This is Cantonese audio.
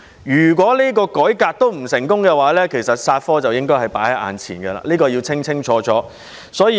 如果改革依然不成功，"殺科"便在眼前，這點是要清清楚楚的。